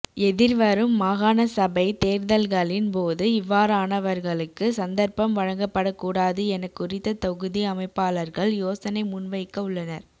எதிர்வரும் மாகாணசபைத் தேர்தல்களின் போது இவ்வாறானவர்களுக்கு சந்தர்ப்பம் வழங்கப்படக் கூடாது என குறித்த தொகுதி அமைப்பாளர்கள் யோசனை முன்வைக்க உள்ளனர்